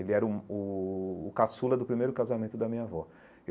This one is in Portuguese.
Ele era um o o caçula do primeiro casamento da minha avó.